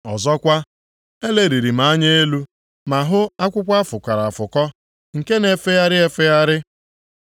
Ọzọkwa, eleliri m anya elu, ma hụ akwụkwọ a fụkọrọ afụkọ nke na-efegharị efegharị.